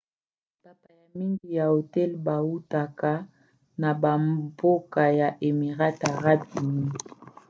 bapaya mingi ya hotel bautaka na bambokaya émirats arabes unis